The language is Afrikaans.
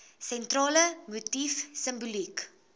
sentrale motief simboliek